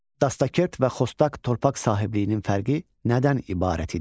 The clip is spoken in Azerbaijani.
Dastakert və xostak torpaq sahibliyinin fərqi nədən ibarət idi?